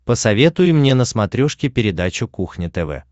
посоветуй мне на смотрешке передачу кухня тв